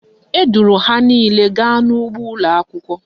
Eduru ha niile gawa n'ugbo ụlọakwụkwọ